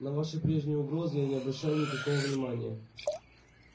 на ваши прежние угрозы я не обращаю никакого внимания